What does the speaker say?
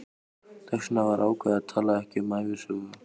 Þess vegna var ákveðið að tala ekki um ævisögu